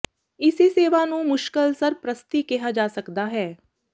ਇਸੇ ਸੇਵਾ ਨੂੰ ਮੁਸ਼ਕਿਲ ਸਰਪ੍ਰਸਤੀ ਕਿਹਾ ਜਾ ਸਕਦਾ ਹੈ